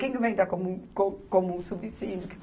Quem que vai entrar como, co como subsíndico?